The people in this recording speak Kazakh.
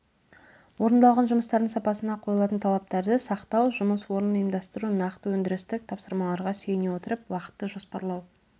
орындалған жұмыстардың сапасына қойылатын талаптарды сақтау жұмыс орнын ұйымдастыру нақты өндірістік тапсырмаларға сүйене отырып уақытты жоспарлау